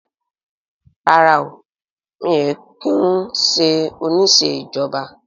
Rárá mi ò kí ń ṣe oníṣẹ́ ìjọba